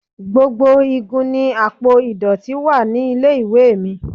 Gbogbo igun ni àpò ìdọ̀tí wa nílé-ìwé mi.